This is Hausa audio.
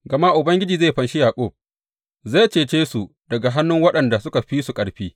Gama Ubangiji zai fanshi Yaƙub zai cece su daga hannun waɗanda suka fi su ƙarfi.